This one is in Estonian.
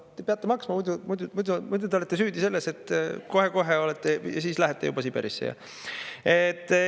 Te peate maksma, muidu te olete süüdi selles, et kohe lähete juba Siberisse.